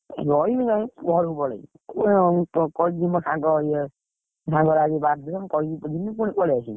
ରହିବି ନାଇଁ, ଘରକୁ ପଳେଇବି, ଉଁ କହିକି ଯିବି ମୋ ସାଙ୍ଗ ଇଏ, ମୋ ସାଙ୍ଗର ଆଜି happy birthday ମୁଁ କହିକି ତ ଯିବି ପୁଣି ପଳେଇଆସିବି।